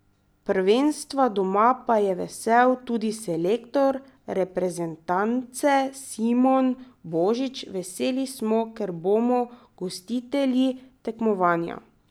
Prvenstva doma pa je vesel tudi selektor reprezentance Simon Božič: 'Veseli smo, ker bomo gostitelji tekmovanja.